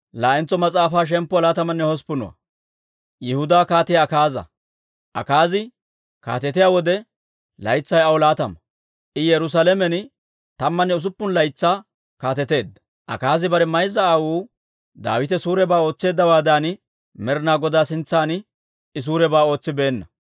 Akaazi kaatetiyaa wode, laytsay aw laatama; I Yerusaalamen tammanne usuppun laytsaa kaateteedda. Akaazi bare mayza aawuu Daawite suurebaa ootseeddawaadan, Med'inaa Godaa sintsan I suurebaa ootsibeenna;